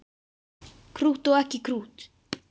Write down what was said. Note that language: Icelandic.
Krútt og ekki krútt.